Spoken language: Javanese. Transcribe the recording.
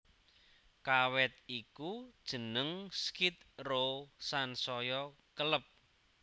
Kawit iku jeneng Skid Row sansaya keleb